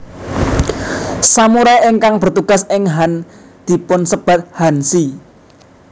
Samurai ingkang bertugas ing han dipunsebat hanshi